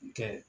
N kɛ